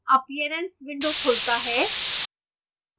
appearance window खुलता है